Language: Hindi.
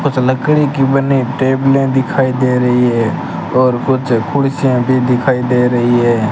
कुछ लकड़ी की बने टेबले दिखाई दे रही हैं और कुछ कुर्सीयां भी दिखाई दे रही है।